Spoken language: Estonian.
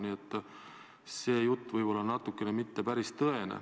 Nii et see jutt ei ole võib-olla päris tõene.